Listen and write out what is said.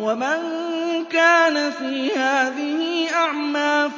وَمَن كَانَ فِي هَٰذِهِ أَعْمَىٰ